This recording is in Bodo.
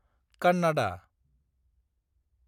कन्नादा